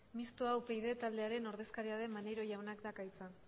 mistoa upyd taldearen ordezkaria den maneiro jaunak dauka hitza